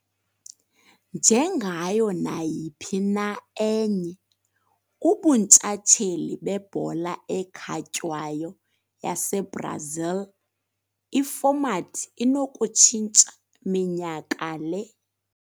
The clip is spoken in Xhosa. Njengayo nayiphi na enye ubuntshatsheli bebhola ekhatywayo yaseBrazil, ifomathi inokutshintsha minyaka le.